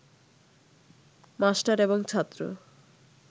master এবং ছাত্র